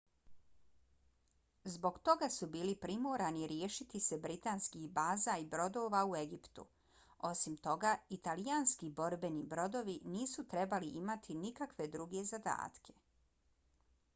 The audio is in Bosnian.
zbog toga su bili primorani riješiti se britanskih baza i brodova u egiptu. osim toga italijanski borbeni brodovi nisu trebali imati nikakve druge zadatke